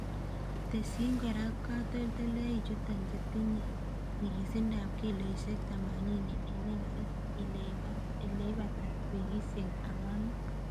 Tesyin kora katoltolichuton chetine nyikisindap kiloisiek tamanini en ekarit ileibata wikisiek ang'wanu.